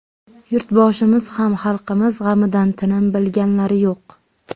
Yurtboshimiz ham xalqimiz g‘amida tinim bilganlari yo‘q.